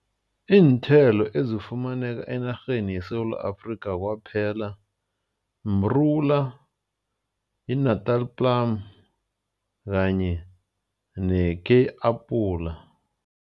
Iinthelo ezifumaneka enarheni yeSewula Afrika kwaphela mrula, iNatal plum kanye ne-Kei apula.